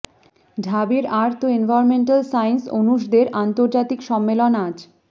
ঢাবির earth ও environmental science অনুষদের আন্তর্জাতিক সম্মেলন আজ